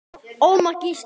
Ómar Gísli.